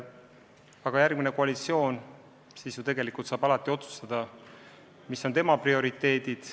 Aga järgmine koalitsioon saab otsustada, mis on tema prioriteedid.